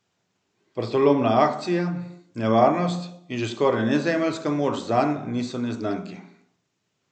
Vratolomna akcija, nevarnost in že skoraj nezemeljska moč zanj niso neznanke.